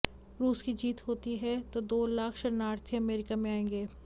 रूस की जीत होती है तो दो लाख शरणार्थी अमेरिका में आएंगे